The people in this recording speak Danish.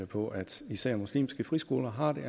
på at især muslimske friskoler har det